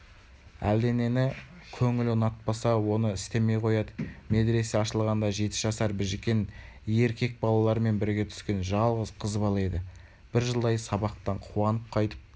әлденені көңілі ұнатпаса оны істемей қояды медресе ашылғанда жеті жасар біжікен ер кек балалармен бірге түскен жалғыз қыз бала еді бір жылдай сабақтан қуанып қайтып